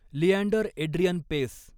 Leander Adrian Paes